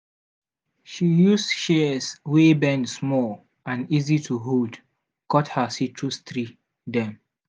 she use shears wey bend small and easy to hold cut her citrus tree dem.